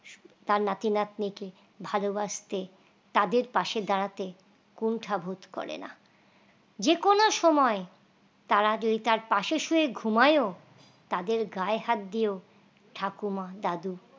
তার নাতি নাতনি কে ভালবাসতে তাদের পাশে দাঁড়াতে কোনটা বোধ করেনা যেকোনো সময় তারা যদি তার পাশে শুয়ে ঘুমায়ো তাদের গায়ে হাত দিয়েও ঠাকুমা দাদু